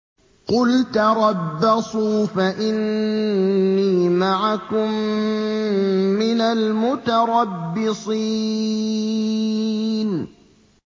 قُلْ تَرَبَّصُوا فَإِنِّي مَعَكُم مِّنَ الْمُتَرَبِّصِينَ